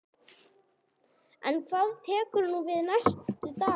En hvað tekur nú við næstu daga?